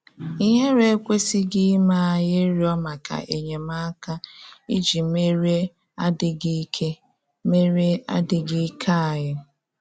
Ìhéré ekwesịghị ime anyị ịrịọ́ maka enyemáka iji merie adị́ghị íké merie adị́ghị íké anyị.